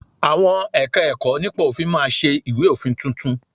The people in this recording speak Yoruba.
Àwọn Ẹ̀ka-ẹ̀kọ́ nípa òfin máa ṣe ìwé òfin tuntun